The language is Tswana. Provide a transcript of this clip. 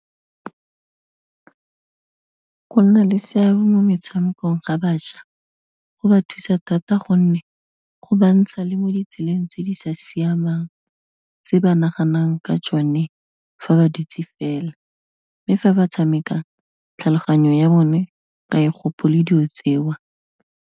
Go nna le seabe mo metshamekong ga bašwa, go ba thusa thata gonne go bantsha le mo ditseleng tse di sa siamang tse ba naganang ka tsone fa ba dutse fela, mme fa ba tshameka tlhaloganyo ya bone ga e gopole dilo tseo.